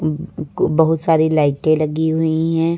बहुत सारी लाइटें लगी हुई हैं।